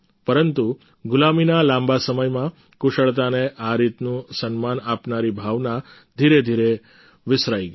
પરંતુ ગુલામીના લાંબા સમયમાં કુશળતાને આ રીતનું સન્માન આપનારી ભાવના ધીરે ધીરે વિસરાઈ ગઈ